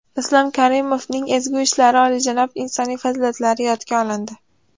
Islom Karimovning ezgu ishlari, oliyjanob insoniy fazilatlari yodga olindi.